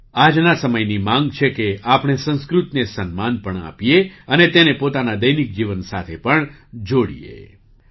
આજના સમયની માગ છે કે આપણે સંસ્કૃતને સન્માન પણ આપીએ અને તેને પોતાના દૈનિક જીવન સાથે પણ જોડીએ